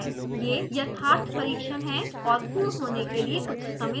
यह यथार्थ परीक्षण है और पूर्ण होने के लिए कुछ समय लेगा